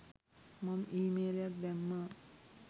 මං ඊමේලයක් දැම්මා.